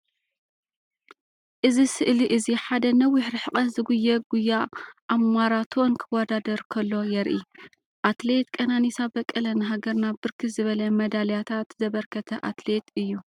እዚ ስእሊ እዚ ሓደ ነዊሕ ርሕቀት ዝጉየ ጐያ ኣብ ማራቶን ክወዳደር ከሎ የርኢ። አትሌት ቀናኒሳ በቀለ ንሃገርና ብርክት ዝበለ መዳሊያታት ዘበርከተ አትሌት እዩ።